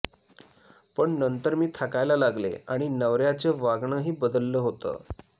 पण नंतर मी थकायला लागले आणि नवऱ्याचं वागणंही बदललं होतं